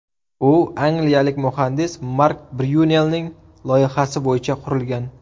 U angliyalik muhandis Mark Bryunelning loyihasi bo‘yicha qurilgan.